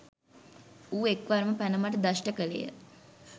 ඌ එක් වරම පැන මට දෂ්ට කළේය.